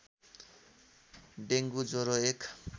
dengue ज्वरो एक